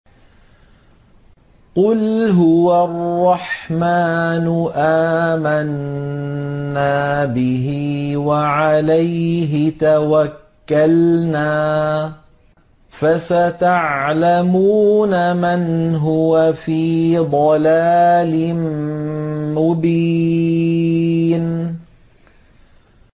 قُلْ هُوَ الرَّحْمَٰنُ آمَنَّا بِهِ وَعَلَيْهِ تَوَكَّلْنَا ۖ فَسَتَعْلَمُونَ مَنْ هُوَ فِي ضَلَالٍ مُّبِينٍ